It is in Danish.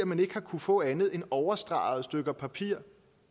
man ikke har kunnet få andet end overstregede stykker papir